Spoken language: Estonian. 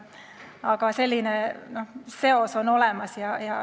Aga selline seos on olemas.